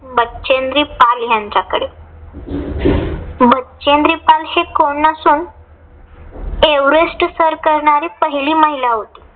बछेन्द्री पाल यांच्याकडे. बछेन्द्री पाल हि कोण नसून एव्हरेस्ट सर करणारी पहिली महिला होती.